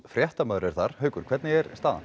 fréttamaður er þar haukur hvernig er staðan